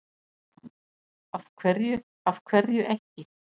Lóa: Af hverju, af hverju ekki?